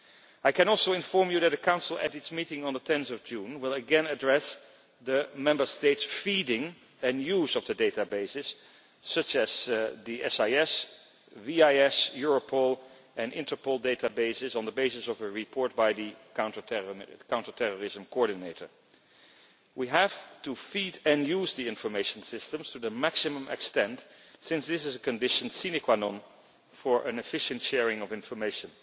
I can also inform you that the Council, at its meeting on 10 June will again address the Member States' feeding and use of the databases, such as the SIS, VIS, Europol and Interpol databases, on the basis of a report by the counter terrorism coordinator. We have to feed and use the information systems to the maximum extent since this is a condition sine qua non for an efficient sharing of information.